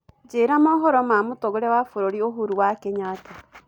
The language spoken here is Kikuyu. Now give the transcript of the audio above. njĩĩra mohoro ma mutongoria wa bururi uhuru wa kenyatta